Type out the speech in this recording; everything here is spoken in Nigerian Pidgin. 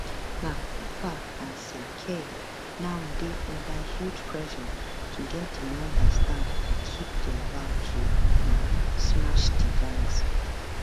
na cooper and sir keir now dey under huge pressure to get di numbers down and keep dia vow to um smash di gangs